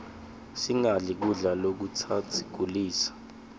singadli kudla lokutasigulisa